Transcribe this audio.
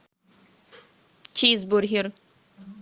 чизбургер